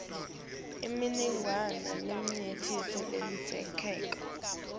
imininingwane leminyenti ledzingekako